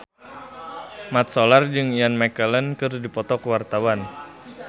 Mat Solar jeung Ian McKellen keur dipoto ku wartawan